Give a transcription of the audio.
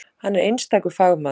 Hann er einstakur fagmaður.